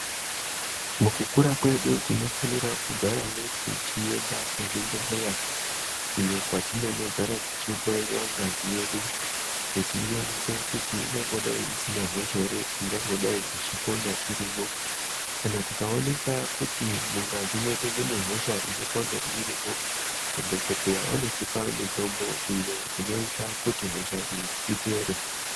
Mukukura kwedu tinofanira kugarawo tichienda kuzvibhehleya iyo kwatinonogara teihloyiwa ngazi yedu kuti ionekwe kuti ingangodai isina hosha ere ingangodai ichipona irimwo kana tikaoneka kuti mungazi mwedu mune hosha inopona irimwo madhokodheya anotipa mitombo inoita kuti hosha iyi ipere.